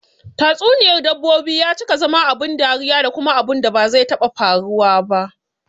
Tatsuniyar dabbobi ya cika zama abun dariya da kuma abunda ba zai taɓa faruwa ba